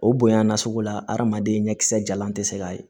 O bonya na sugu la adamaden ɲɛ kisɛ jalan tɛ se ka ye